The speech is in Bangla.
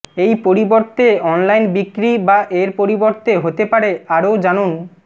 এই পরিবর্তে অনলাইন বিক্রি বা এর পরিবর্তে হতে পারে আরও জানুন